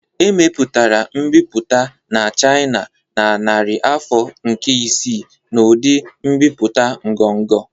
Emepụtara mbipụta na China na narị afọ nke isii n'ụdị mbipụta ngọngọ